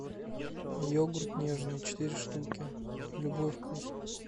йогурт нежный четыре штуки любой вкус